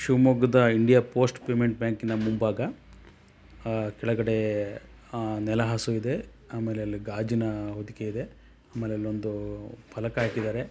ಶಿವಮೊಗ್ಗದ India post payment ಬ್ಯಾಂಕಿನ ಮುಂಭಾಗ ಅಹ್ ಕೆಳಗಡೆ ಅಹ್ ನೆಲಹಾಸು ಇದೆ. ಆಮೇಲೆ ಅಲ್ಲಿ ಗಾಜಿನ ಹೊದಿಕೆ ಇದೆ ಆಮೇಲೆ ಅಲ್ಲೊಂದು ಉಹ್ ಫಲಕ ಹಾಕಿದರೆ.